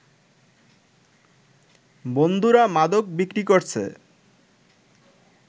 বন্ধুরা মাদক বিক্রি করছে